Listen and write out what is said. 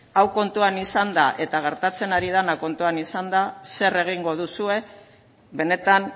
hau kontuan izanda eta gertatzen ari dena kontutan izanda zer egingo duzue benetan